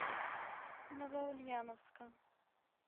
новоульяновска